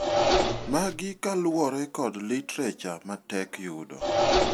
Magi kaluore kod literature matek yudo.